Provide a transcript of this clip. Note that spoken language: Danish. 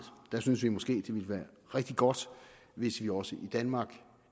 der synes vi måske det ville være rigtig godt hvis vi også i danmark